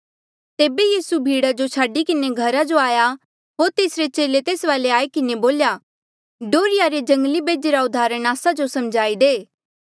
तेबे यीसू भीड़ा जो छाडी किन्हें घरा जो आया होर तेसरे चेले तेस वाले आई किन्हें बोल्या डोहर्रिया रे जंगली बेजे रा उदाहरण आस्सा जो समझाई दे